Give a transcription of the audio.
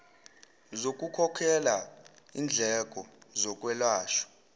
zokukhokhela indleko zokwelashwa